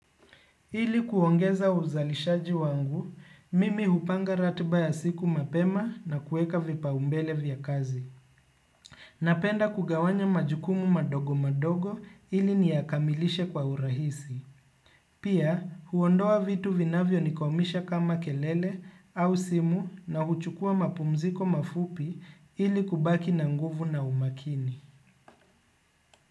Ili kuongeza uzalishaji wangu, mimi hupanga ratiba ya siku mapema na kueka vipaumbele vya kazi. Napenda kugawanya majukumu madogo madogo ili niyakamilishe kwa urahisi. Pia huondoa vitu vinavyo nikomisha kama kelele au simu na huchukua mapumziko mafupi ili kubaki na nguvu na umakini.